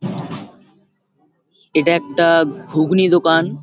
এটা একটা ঘুগনি দোকান।